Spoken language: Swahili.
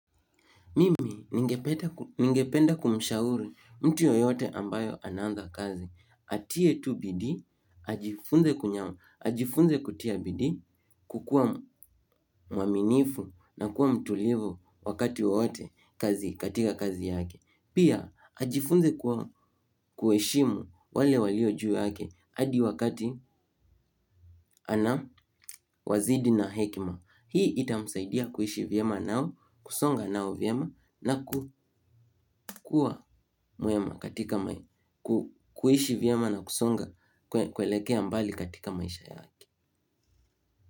Mimi ningependa kumshauri mtu yoyote ambayo ana anza kazi. Atie tu bidi, ajifunze kutia bidi kukua mwaminifu na kuwa mtulivu wakati wowote katika kazi yake. Pia ajifunze kuheshimu wale walio juu yake hadi wakati anawazidi na hekima. Hii itamsaidia kuishi vyema nao, kusonga nao vyema na kukua mwema katika kuishi vyema na kusonga kuelekea mbali katika maisha yake.